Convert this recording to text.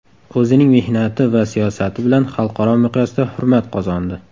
O‘zining mehnati va siyosati bilan xalqaro miqyosda hurmat qozondi.